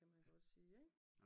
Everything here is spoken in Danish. Kan man godt sige ik?